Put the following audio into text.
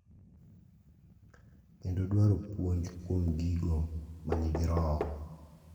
Kendo dwaro puonj kuom gigo ma nigi roho.